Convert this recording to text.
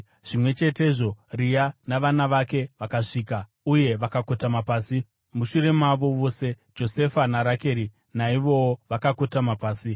Zvimwe chetezvo, Rea navana vake vakasvika uye vakakotama pasi. Mushure mavo vose Josefa naRakeri, naivowo vakakotama pasi.